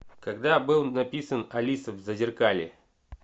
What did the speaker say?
когда был написан алиса в зазеркалье